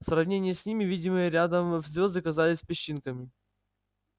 в сравнении с ними видимые рядом звёзды казались песчинками